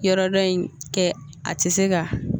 Yɔrɔ dɔ in kɛ a tɛ se ka